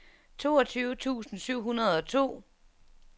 toogtyve tusind syv hundrede og to